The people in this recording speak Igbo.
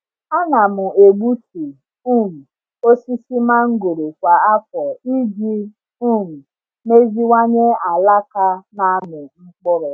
Ana m egbutu um osisi mangoro kwa afọ iji um meziwanye alaka na-amị mkpụrụ.